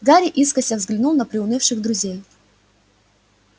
гарри искоса взглянул на приунывших друзей